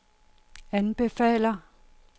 anbefaler